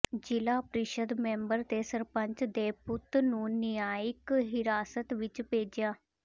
ਜ਼ਿਲ੍ਹਾ ਪ੍ਰੀਸ਼ਦ ਮੈਂਬਰ ਤੇ ਸਰਪੰਚ ਦੇ ਪੁੱਤ ਨੂੰ ਨਿਆਂਇਕ ਹਿਰਾਸਤ ਵਿੱਚ ਭੇਜਿਆ